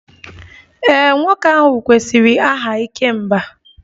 Ee, nwoke ahụ kwesịrị aha 'ikemba'